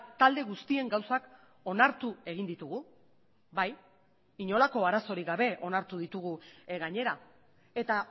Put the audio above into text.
talde guztien gauzak onartu egin ditugu bai inolako arazorik gabe onartu ditugu gainera eta